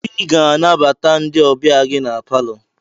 Ị ga-anabata ndị ọbịa gị na palọ!